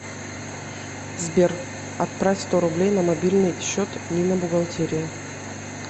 сбер отправь сто рублей на мобильный счет нина бухгалтерия